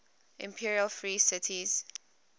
imperial free cities